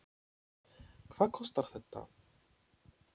Hvað kostar þetta?